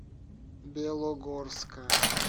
белогорска